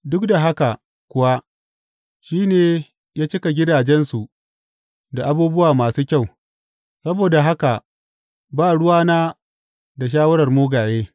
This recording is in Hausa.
Duk da haka kuwa shi ne ya cika gidajensu da abubuwa masu kyau, saboda haka ba ruwana da shawarar mugaye.